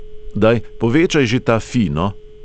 Daj, povečaj že ta fi, no!